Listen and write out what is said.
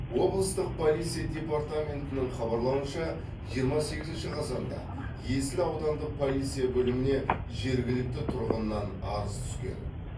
облыстық полиция департаментінің хабарлауынша жиырма сегізінші қазанда есіл аудандық полиция бөліміне жергілікті тұрғыннан арыз түскен